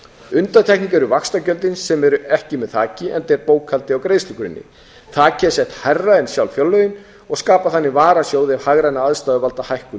undantekning eru vaxtagjöldin sem eru ekki með þaki enda er bókhaldið á greiðslugrunni þakið er sett hærra en sjálf fjárlögin og skapa þannig varasjóð ef hagrænar aðstæður valda hækkun